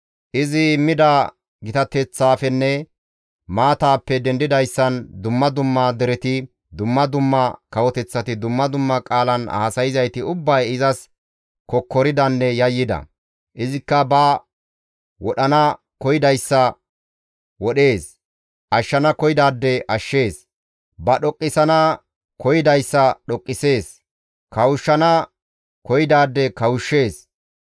Izi immida gitateththaafenne maataappe dendidayssan dumma dumma dereti, dumma dumma kawoteththati, dumma dumma qaalan haasayzayti ubbay izas kokkoridanne yayyida. Izikka ba wodhana koyidayssa wodhees; ashshana koyidaade ashshees; ba dhoqqisana koyidayssa dhoqqisees; kawushshana koyidaade kawushshees.